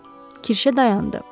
Kirşə dayandı.